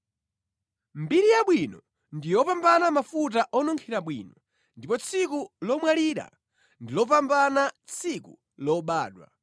Mbiri yabwino ndi yopambana mafuta onunkhira bwino, ndipo tsiku lomwalira ndi lopambana tsiku lobadwa.